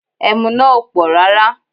Ẹmu náà ò pọ̀ rárá